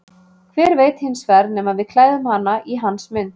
Hver veit hins vegar nema við klæðum hana í hans mynd.